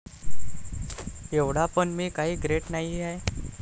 एव्हडा पण मी काही ग्रेट नाहिये.